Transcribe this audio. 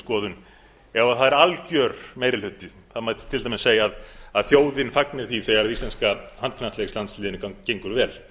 skoðun ef það er algjör meiri hluti það mætti til dæmis segja að þjóðin fagni því þegar íslenska handknattleikslandsliðinu gengur vel en það er